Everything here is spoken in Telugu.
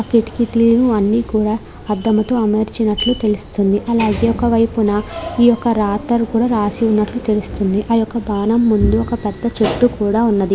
ఆ కిటికీలు అన్ని కూడా అద్దంతో అమర్చినట్లు తెలుస్తుంది అలాగే ఒకవైపున ఈ యొక్క రాత కూడా రాసినట్లు తెలుస్తుంది ఆ యొక్క బాణం ముందు ఒక పెద్ద చెట్టు కూడా ఉన్నది.